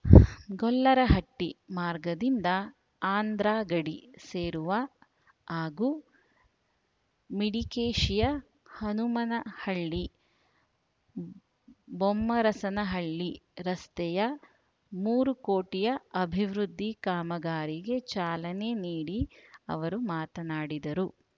ಗೊಲ್ಲರಹಟ್ಟಿ ಮಾರ್ಗದಿಂದ ಆಂಧ್ರಗಡಿ ಸೇರುವ ಹಾಗೂ ಮಿಡಿಗೇಶಿಯ ಹನುಮನಹಳ್ಳಿಬೊಮ್ಮರಸನಹಳ್ಳಿ ರಸ್ತೆಯ ಮೂರು ಕೋಟಿಯ ಅಭಿವೃದ್ಧಿ ಕಾಮಗಾರಿಗೆ ಚಾಲನೆ ನೀಡಿ ಅವರು ಮಾತನಾಡಿದರು